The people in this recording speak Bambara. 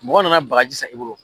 Mɔgɔ nana baji san e bolo